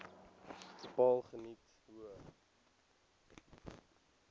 bepaal geniet hoë